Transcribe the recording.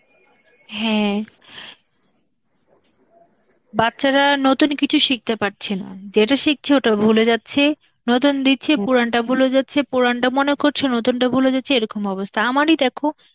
হ্যাঁ, বাচ্চারা নতুন কিছু শিখতে পারছে না, যেটা শিখছে ওটা ভুলে যাচ্ছে, নতুন দিচ্ছে পুরানটা ভুলে যাচ্ছে, পুরানটা মনে করছে, নতুনটা ভুলে যাচ্ছে, এরকম অবস্থা. আমারই দেখো